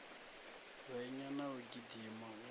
hwenya na u gidima u